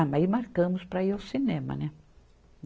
Ah, mas aí marcamos para ir ao cinema, né?